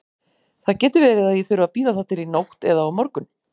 Það getur verið að ég þurfi að bíða þar til í nótt eða á morgun.